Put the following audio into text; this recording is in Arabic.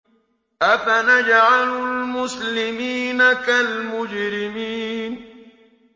أَفَنَجْعَلُ الْمُسْلِمِينَ كَالْمُجْرِمِينَ